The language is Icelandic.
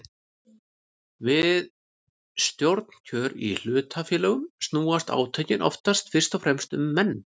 Við stjórnarkjör í hlutafélögum snúast átökin oftast fyrst og fremst um menn.